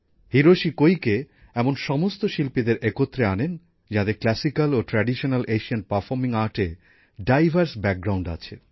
Hiroshi Koike এমন সমস্ত শিল্পীদের একত্রে আনেন যাঁদের ধ্রুপদী ও চিরায়ত এশিয়ান পারফর্মিং আর্টে ডাইভার্স ব্যাকগ্রাউন্ড আছে